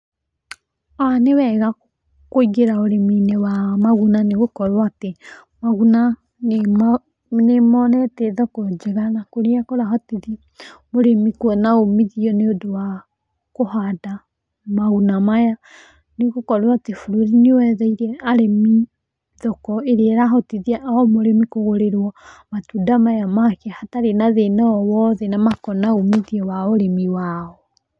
Nĩ wega kũingĩra ũrĩmi-inĩ wa maguna nĩ gũkorwo atĩ, maguna nĩmo, nĩ monetie thoko njega na kũrĩa kũrahotithia mũrĩmi kuona ũmithio nĩ ũndũ wa kũhanda maguna maya. Nĩ gũkorwo atĩ bũrũri nĩ wetheire arĩmi thoko ĩrĩa ĩrahotithia ũrĩmi kũgũrĩrwo matunda maya make hatarĩ na thĩna o wothe na makona ũmithio wao ũrĩmi wao.